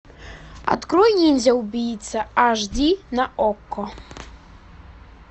открой ниндзя убийца аш ди на окко